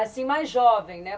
Assim, mais jovem, né?